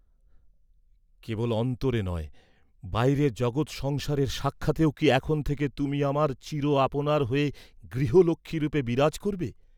কেবল অন্তরে নয়, বাইরে জগৎসংসারের সাক্ষাতেও কি এখন থেকে তুমি আমার চির আপনার হ’য়ে, গৃহলক্ষ্মী রূপে বিরাজ করবে?